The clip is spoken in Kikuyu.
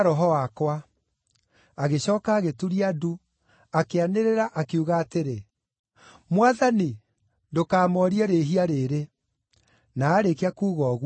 Agĩcooka agĩturia ndu, akĩanĩrĩra, akiuga atĩrĩ, “Mwathani, ndũkamoorie rĩĩhia rĩĩrĩ.” Na aarĩkia kuuga ũguo, agĩkoma.